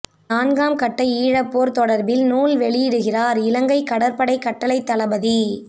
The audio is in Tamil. நான்காம் கட்ட ஈழப்போர் தொடர்பில் நூல் வெளியிடுகிறார் இலங்கை கடற்படை கட்டளைத் தளபதி